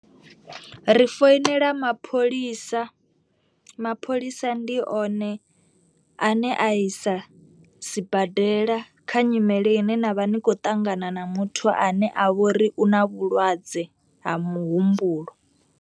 Ri foinela mapholisa, mapholisa ndi one a ne a isa sibadela kha nyimele ine na vha ni khou ṱangana na muthu ane a vhori u na vhulwadze ha muhumbulo.